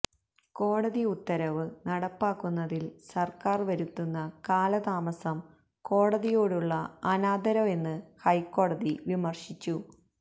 കോടതി ഉത്തരവ് നടപ്പാക്കുന്നതില് സര്ക്കാര് വരുത്തുന്ന കാലതാമസം കോടതിയോടുള്ള അനാദരവെന്ന് ഹൈക്കോടതി വിമര്ശിച്ചു